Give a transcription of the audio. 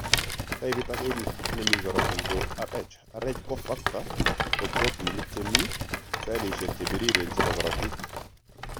Taipit ake nemii korotik koo Rh.Rh factor ko protinik chemii cellisiek chebiriren chebo korotik